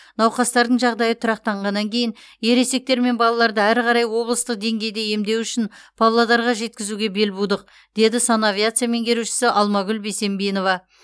науқастардың жағдайы тұрақтанғаннан кейін ересектер мен балаларды әрі қарай облыстық деңгейде емдеу үшін павлодарға жеткізуге бел будық деді санавиация меңгерушісі алмагүл бесембинова